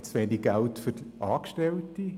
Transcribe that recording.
Hat man zu wenig Geld für Angestellte?